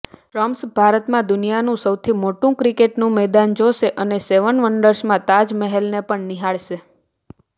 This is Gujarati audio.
ટ્રમ્પ ભારતમાં દુનિયાનું સૌથી મોટું ક્રિકેટનું મેદાન જોશે અને સેવન વંડર્સમાં તાજમહેલને પણ નિહાળશે